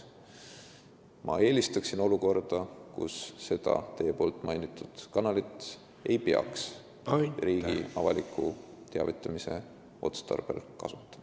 Ma eelistaksin olukorda, kus seda teie mainitud kanalit ei peaks riigi avaliku teavitamise otstarbel kasutama.